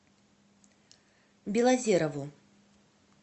белозерову